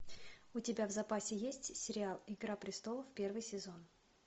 у тебя в запасе есть сериал игра престолов первый сезон